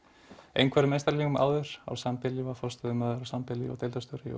einhverfum einstaklingum á sambýli forstöðumaður á sambýli og deildarstjóri